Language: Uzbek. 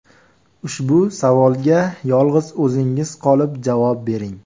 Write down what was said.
Ushbu savolga yolg‘iz o‘zingiz qolib javob bering.